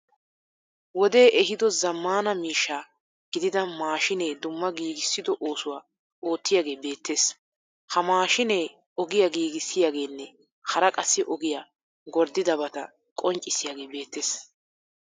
Wodee ehiido zaammaana miishsha gidida maashinee dumma giigisso oosuwa oottiyagee beettees. Ha maashine ogiya giigissiyageenne hara qassi ogiya gorddidabata qonccissiyagee beettees.